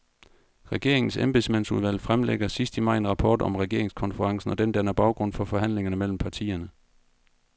Regeringens embedsmandsudvalg fremlægger sidst i maj en rapport om regeringskonferencen, og den danner baggrund for forhandlingerne mellem partierne.